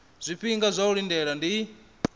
zwifhinga zwa u lindela ndi